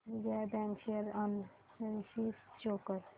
Vijaya bank share analysis show कर